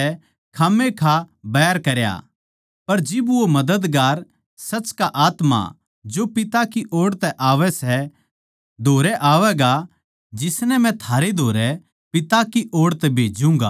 पर जिब वो मददगार सच का आत्मा जो पिता की ओड़ तै आवै सै धोरै आवैगा जिसनै मै थारै धोरै पिता की ओड़ तै भेज्जूँगा तो वो मेरी गवाही देवैगा